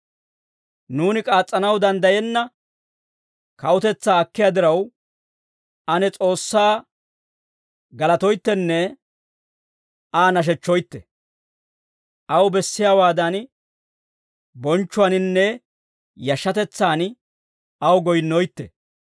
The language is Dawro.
Nuuni k'aas's'anaw danddayenna kawutetsaa akkiyaa diraw, ane S'oossaa galatoyttenne Aa nashechchoytte; aw bessiyaawaadan bonchchuwaaninne yashshatetsaan aw goyinnoytte.